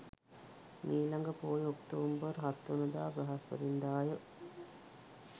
මීළඟ පෝය ඔක්තෝබර් 07 වන දා බ්‍රහස්පතින්දාය.